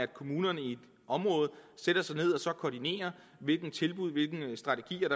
kommunerne i et område sætter sig ned og koordinerer hvilke tilbud og hvilke strategier